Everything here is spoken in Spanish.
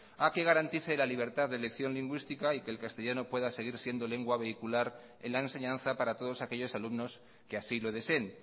a que garantice la libertad de elección lingüística y que el castellano pueda seguir siendo lengua vehicular en la enseñanza para todos aquellos alumnos que así lo deseen